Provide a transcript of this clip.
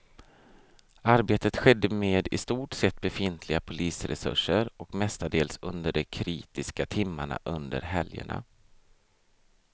Arbetet skedde med i stort sett befintliga polisresurser och mestadels under de kritiska timmarna under helgerna.